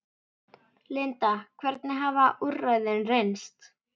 Linda, hvernig hafa úrræðin reynst?